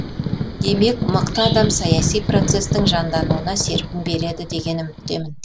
демек мықты адам саяси процестің жандануына серпін береді деген үміттемін